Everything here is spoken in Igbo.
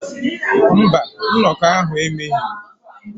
Mba, nnọkọ ahụ emeghị.